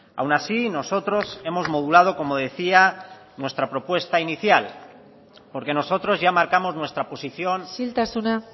aun así nosotros hemos modulado como decía nuestra propuesta inicial porque nosotros ya marcamos nuestra posición isiltasuna